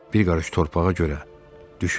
Bir qarış torpağa görə düşündüm.